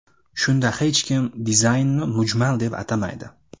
Shunda hech kim dizaynni mujmal deb atamaydi.